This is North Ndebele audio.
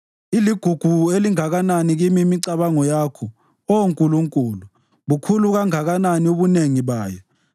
Iligugu elinganani kimi imicabango yakho, Oh Nkulunkulu! Bukhulu kanganani ubunengi bayo!